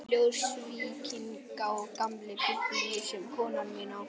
Ljósvíkinginn og gamla Biblíu sem konan mín á.